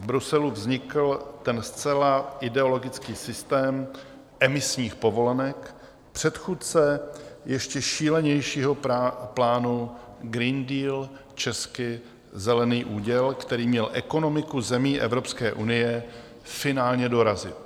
V Bruselu vznikl ten zcela ideologický systém emisních povolenek, předchůdce ještě šílenějšího plánu Green Deal, česky zelený úděl, který měl ekonomiku zemí Evropské unie finálně dorazit.